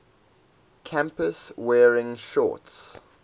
campus wearing shorts